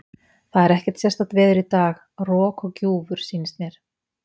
Það er ekkert sérstakt veður í dag, rok og gjúfur sýnist mér.